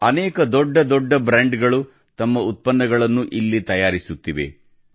ಅನೇಕ ದೊಡ್ಡ ದೊಡ್ಡ ಬ್ರ್ಯಾಂಡ್ಗಳು ತಮ್ಮ ಉತ್ಪನ್ನಗಳನ್ನು ಇಲ್ಲಿ ತಯಾರಿಸುತ್ತಿವೆ